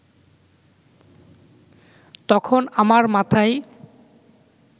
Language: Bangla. তখন আমার মাথায়